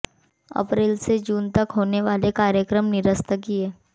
अप्रैल से जून तक होने वाले कार्यक्रम निरस्त किए